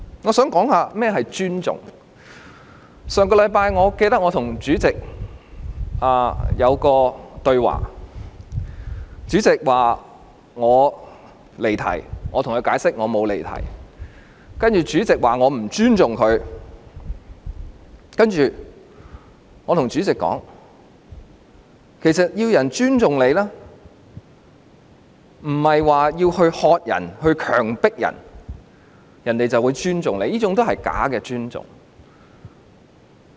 我記得上星期我和主席的對話，主席說我離題，我向他解釋我沒有離題，然後主席說我不尊重他，我告訴主席，要人尊重他，不是喝止或強迫對方，對方便會尊重，這是假尊重。